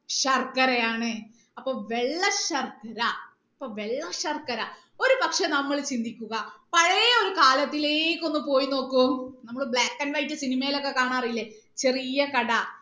ശർക്കരയാണ് അപ്പൊ വെള്ള ശർക്കര അപ്പൊ വെള്ള ശർക്കര ഒരുപക്ഷെ നമ്മൾ ചിന്തിക്കുക പഴയ ഒരു കാലത്തിലേക്ക് ഒന്ന് പോയി നോക്കൂ നമ്മൾ black and white cinema യിലൊക്കെ കാണാറില്ലേ ചെറിയ കട